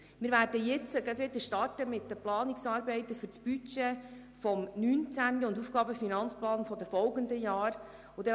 Wir werden gleich wieder mit den Planungsarbeiten für das Budget 2019 und für den AFP der folgenden Jahre starten.